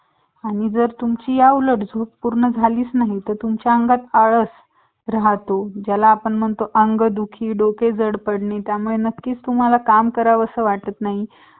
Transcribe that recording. मागं थोडी design आहे एकदम counter